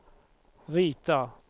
rita